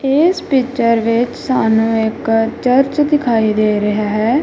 ਇਸ ਪਿਚਰ ਵਿੱਚ ਸਾਨੂੰ ਇੱਕ ਚਰਚ ਦਿਖਾਈ ਦੇ ਰਿਹਾ ਹੈ।